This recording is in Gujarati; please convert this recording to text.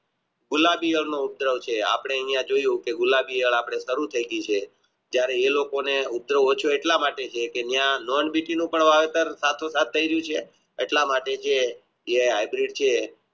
ગુલાબી અપને અહીંયા જોયું ગુલાબી વાર અપને સારું થઈ ગયા છે જયારે એ લોકો ને ઉદ્યોગ ઓછો એટલા માટે છે કે ત્યાં એટલા માટે જે હાંઉંદરીત છે